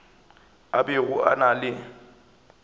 a bego a na le